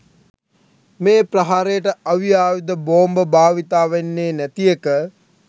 මේ ප්‍රහාරයට අවි ආයුධ බෝම්බ භාවිතා වෙන්නේ නැති එක.